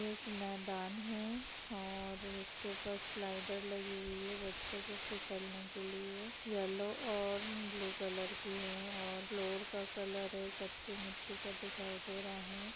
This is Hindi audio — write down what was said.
एक मैदान है और इसके पास ऊपर स्लाइडर लगी हुई है बच्चों को फिसलने के लिए| येलो और ब्लू कलर की है और फ्लोर का कलर है कच्ची मिट्टी का दिखाई दे रहा है।